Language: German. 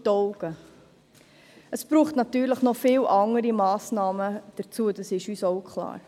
Dazu braucht es natürlich noch viele andere Massnahmen, das ist uns auch klar.